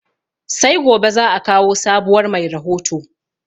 Sai gobe zaa kawo sabuwar mai rahoto